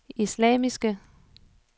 islamiske